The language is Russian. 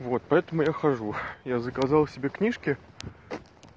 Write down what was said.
вот поэтому я хожу я заказал себе книжки